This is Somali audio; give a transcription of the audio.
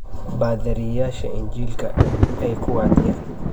Baadhariyaasha injiilka ay ku wacdiyan.